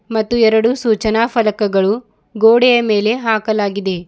ಮತ್ತು ಎರಡು ಸೂಚನಾ ಫಲಕಗಳು ಗೋಡೆಯ ಮೇಲೆ ಹಾಕಲಾಗಿದೆ.